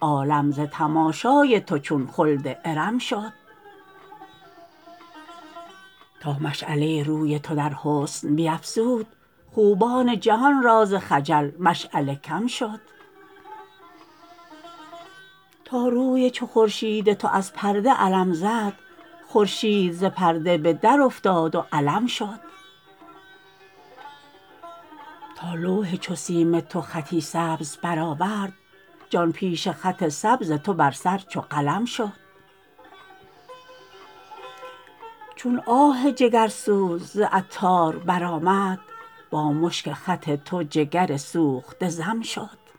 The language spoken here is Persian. عالم ز تماشای تو چون خلد ارم شد تا مشعله روی تو در حسن بیفزود خوبان جهان را ز خجل مشعله کم شد تا روی چو خورشید تو از پرده علم زد خورشید ز پرده به در افتاد و علم شد تا لوح چو سیم تو خطی سبز برآورد جان پیش خط سبز تو بر سر چو قلم شد چون آه جگرسوز ز عطار برآمد با مشک خط تو جگر سوخته ضم شد